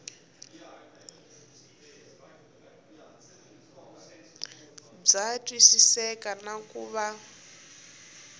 bya twisiseka na ku va